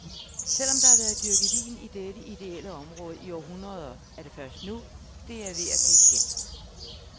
Selvom der har været dyrket vin i dette idéelle område i århundrede, er det først nu, det er ved at blive kendt.